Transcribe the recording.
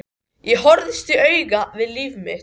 Ég horfðist í augu við líf mitt.